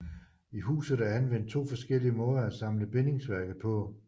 I huset er anvendt to forskellige måder at samle bindingsværket på